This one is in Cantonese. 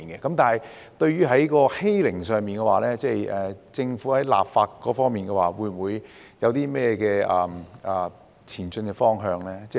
但是，關於欺凌，政府在立法方面有何前進方向呢？